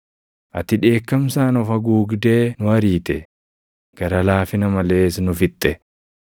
“Ati dheekkamsaan of haguugdee nu ariite; gara laafina malees nu fixxe.